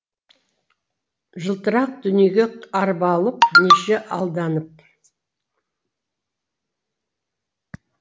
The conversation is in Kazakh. жылтырақ дүниеге арбалып неше алданып